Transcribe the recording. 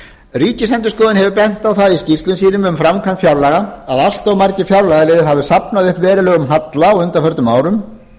ríkisendurskoðun hefur bent á það í skýrslum sínum um framkvæmd fjárlaga að allt of margir fjárlagaliðir hafi safnað upp verulegum halla á undanförnum árum